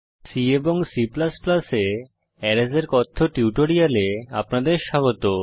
C এবং C এ arrays এর কথ্য টিউটোরিয়ালে আপনাদের স্বাগত